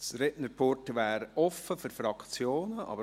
Das Rednerpult wäre offen für die Fraktionen.